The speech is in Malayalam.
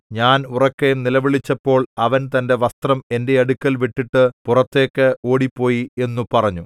ഞാൻ ഉറക്കെ നിലവിളിച്ചപ്പോൾ അവൻ തന്റെ വസ്ത്രം എന്റെ അടുക്കൽ വിട്ടിട്ട് പുറത്തേക്ക് ഓടിപ്പോയി എന്നു പറഞ്ഞു